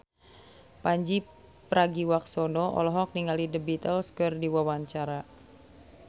Pandji Pragiwaksono olohok ningali The Beatles keur diwawancara